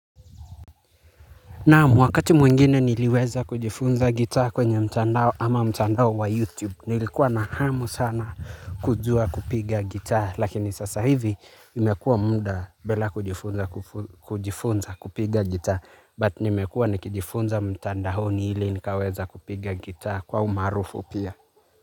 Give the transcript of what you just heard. Nam mwakati mwingine niliweza kujifunza gitaa kwenye mtandao ama mtandao wa YouTube nilikuwa na hamu sana kujua kupiga gitaa lakini sasa hivi imekua mda bela kujifunza kujifunza kupiga gitaa but nimekua nikijifunza mtandaoni ili nikaweza kupiga gitaa kwa umarufu pia.